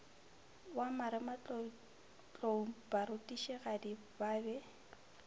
wa marematlou barutišigadi ba be